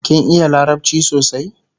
kin iya larabci sosai?